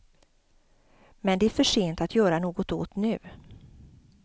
Men det är för sent att göra något åt nu.